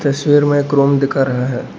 तस्वीर में एक रूम दिखा रहे हैं।